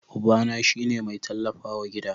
Ubana shi ne mai tallafawa gida.